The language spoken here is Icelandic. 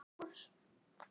Páll sest í helgan stein